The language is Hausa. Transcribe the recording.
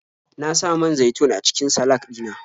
Na sa man zaitun a cikin salak ɗina.